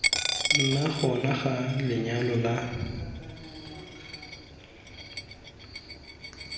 nna gona ga lenyalo la